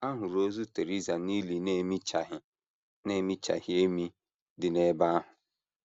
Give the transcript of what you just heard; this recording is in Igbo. A hụrụ ozu Theresa n’ili na - emichaghị na - emichaghị emi dị n’ebe ahụ.